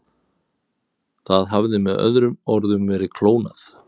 Það hafði með öðrum orðum verið klónað.